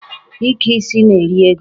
Ike isi na-eri ego.